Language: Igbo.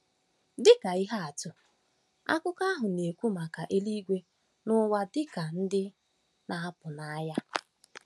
Dị ka ihe atụ, akụkọ ahụ na-ekwu maka eluigwe na ụwa dị ka ndị ‘ na-apụ n’anya. ’